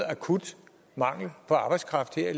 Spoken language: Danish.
akut mangel på arbejdskraft her